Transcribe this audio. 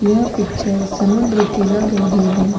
यह पिक्चर समुन्द्र की लग रही है।